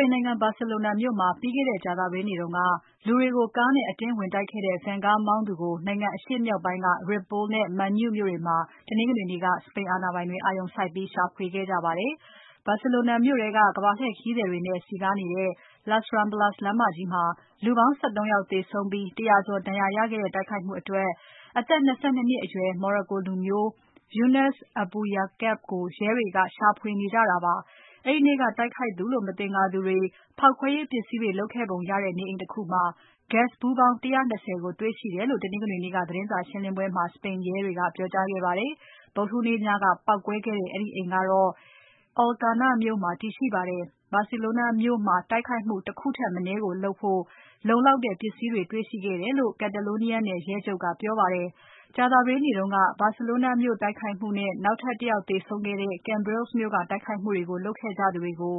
ိန်နိုင်ငံ Barcelona မြို့မှာ ပြီးခဲ့တဲ့ ကြာသပတေးနေ့က လူတွေကိုကားနဲ့ အတင်းဝင်တိုက်ခဲ့တဲ့ Van ကားမောင်းသူကို နိုင်ငံအရှေ့မြောက်ပိုင်းက Ripoll နဲ့ Manlleu မြို့တွေမှာ တနင်္ဂနွေနေ့က စပိန်အာဏာပိုင်တွေ အာရုံစိုက်ပြီးရှာဖွေနေကြပါတယ်။ Barcelona မြို့ထဲက ကမ္ဘာလှည့်ခရီးသည်တွေနဲ့ စည်းကားနေတဲ့ Las Ramblas လမ်းမကြီးမှာ လူပေါင်း ၁၃ ယောက်သေဆုံးပြီး ၁၀၀ ကျော်ဒဏ်ရာရခဲ့တဲ့ တိုက်ခိုက်မှုအတွက် အသက် ၂၂ နှစ်အရွယ် Moroccan လူမျိုး Younes Abouyaaquoub ကို ရဲတွေရှာဖွေနေကြတာပါ။ အဲဒီနေ့က တိုက်ခိုက်သူလို့ မသင်္ကာသူတွေ ဖေါက်ခွဲရေးပစ္စည်းတွေ လုပ်ခဲ့ကြပုံရတဲ့ နေအိမ်တခုမှာ Gas ဗူးပေါင်း ၁၂၀ ကိုတေ့ွရှိခဲ့တယ်လို့ တနင်္ဂနွေနေ့က သတင်းစာရှင်းပွဲမှာ စပိန်ရဲက ပြောကြားခဲ့ပါတယ်။ ဗုဒ္ဓဟူးနေ့ည ပေါက်ကွဲခဲ့တဲ့ အဲဒီအိမ်ကတော့ Alcanar မြို့မှာတည်ရှိပါတယ်။ Barcelona မြို့မှာ တိုက်ခိုက်မှု ၁ ခုထက်မနည်းလုပ်နိုင်ဖို့ လုံလောက်တဲ့ ပစ္စည်းတွေတေ့ွရှိခဲ့တယ်လို့ Catalonia နယ်ရဲချုပ်က ပြောပါတယ်။ ကြာသပတေးနေ့တုန်းက Barcelona မြို့တိုက်ခိုက်မှုနဲ့ နောက်ထပ် ၁ ယောက် သေဆုံးခဲ့တဲ့ Cambrils မြို့ကတိုက်ခိုက်မှုတွေကို လုပ်ခဲ့ကြသူတွေကို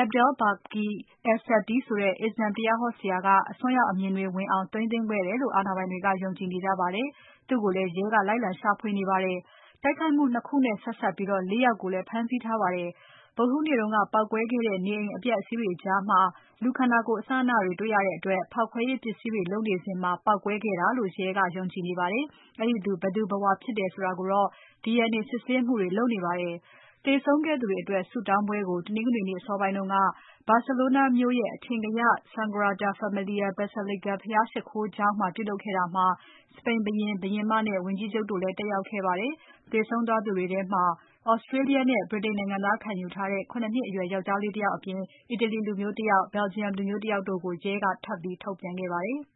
Abdelbaki Es Satty ဆိုတဲ့ အစ္စလာမ် တရားဟောဆရာက အစွန်းရောက်အမြင်တွေ ဝင်အောင် သိမ်းသွင်းခဲ့တယ်လို့ အာဏာပိုင်တွေက ယုံကြည်နေပါတယ်။ သူ့ကိုလည်း ရဲကလိုက်လံ ရှာဖွေနေပါတယ်။တိုက်ခိုက်မှု ၂ ခုနဲ့ဆက်စပ်ပြီး ၄ ယောက်ကိုလည်း ဖမ်းဆီးထားပါတယ်။ ဗုဒ္ဓဟူးနေ့က ပေါက်ကွဲခဲ့တဲ့ နေအိမ်အပျက်အစီးတွေကြားမှာ လူခန္ဓာကိုယ်အစအနတွေ တွေ့ရတဲ့အတွက် ဖောက်ခွဲရေးပစ္စည်းတွေလုပ်နေစဉ် ပေါက်ကွဲခဲ့တာလို့ ရဲက ယုံကြည်နေပါတယ်။ အဲဒီသူ ဘယ်သူဘယ်ဝါ ဖြစ်တယ်ဆိုတာကိုတော့ DNA စစ်ဆေးမှုတွေလုပ်နေပါတယ်။ သေဆုံးခဲ့သူတွေအတွက်ဆုတောင်းပွဲကို တနင်္ဂနွေနေ့အစောပိုင်းက Barcelona မြို့ရဲ့ အထင်ကရ Sagrada Familia Basilica ဘုရားရှိခိုးကျောင်းမှာ ပြုလုပ်ခဲ့တာမှာ စပိန်ဘုရင်။ ဘုရင်မနဲ့ ဝန်ကြီးချုပ်တို့လည်း တက်ရောက်ခဲ့ပါတယ်။ သေဆုံးသူတွေထဲမှာ Australia နဲ့ ဗြိတိန်နိုင်ငံသားခံယူထားတဲ့ ၇ နှစ်အရွယ် ယောင်္ကျားလေးတယောက်အပြင် အီတလီလူမျိုးတယောက်။ Belgium လူမျိုးတယောက်တို့ကို ရဲကထပ်ပြီးထုတ်ပြန်ခဲ့ပါတယ်။